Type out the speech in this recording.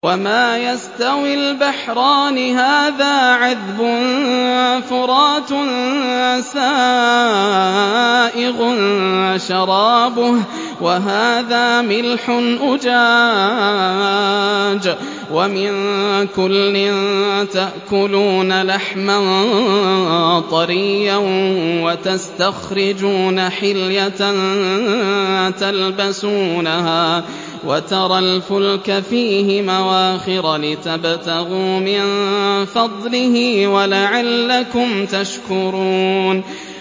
وَمَا يَسْتَوِي الْبَحْرَانِ هَٰذَا عَذْبٌ فُرَاتٌ سَائِغٌ شَرَابُهُ وَهَٰذَا مِلْحٌ أُجَاجٌ ۖ وَمِن كُلٍّ تَأْكُلُونَ لَحْمًا طَرِيًّا وَتَسْتَخْرِجُونَ حِلْيَةً تَلْبَسُونَهَا ۖ وَتَرَى الْفُلْكَ فِيهِ مَوَاخِرَ لِتَبْتَغُوا مِن فَضْلِهِ وَلَعَلَّكُمْ تَشْكُرُونَ